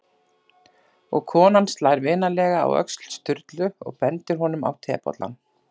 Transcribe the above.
Og konan slær vinalega á öxl Sturlu og bendir honum á tebollann.